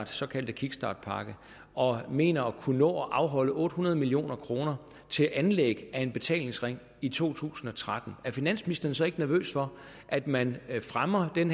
såkaldte kickstartpakke og mener at kunne afholde otte hundrede million kroner til anlæg af en betalingsring i to tusind og tretten er finansministeren så ikke nervøs for at man fremmer den